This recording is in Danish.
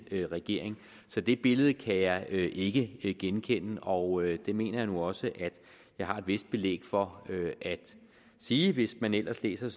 regering så det billede kan jeg ikke ikke genkende og det mener jeg nu også at jeg har et vist belæg for at sige hvis man ellers læser